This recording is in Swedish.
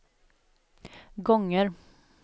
gånger